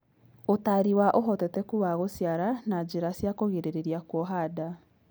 Ũtari wa ũhotekeku wa gũciara na njĩra cia kũgirĩrĩria kuoha nda